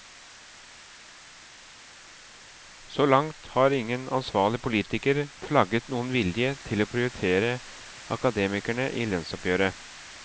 Så langt har ingen ansvarlig politiker flagget noen vilje til å prioritere akademikerne i lønnsoppgjøret.